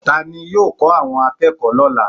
Ta ni yóò kọ́ àwọn akẹ́kọ̀ọ́ lọ́la?